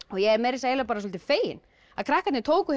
og ég er svolítið fegin að krakkarnir tóku